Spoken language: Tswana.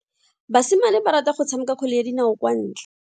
Basimane ba rata go tshameka kgwele ya dinao kwa ntle.